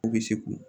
U bɛ se k'u